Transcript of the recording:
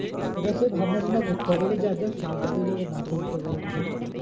এবার সেই ভাবনা চিন্তা করতে হবে এবার যার যার সুবিধা হবে যে ও মাসে দিতে পারে